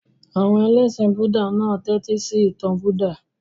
Àwọn ẹlẹ́ṣin Búúdà náà tẹ́tísí ìtàn Buddha.